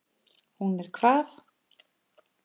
Hún er hvað.